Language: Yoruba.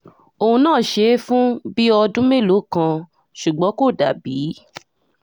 òun náà ṣe é fún bíi ọdún mélòó kan ṣùgbọ́n kò dà bíi